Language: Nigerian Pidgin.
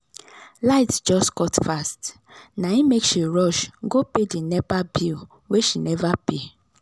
light just cut fast na im make she rush go pay the nepa bill wey she never pay.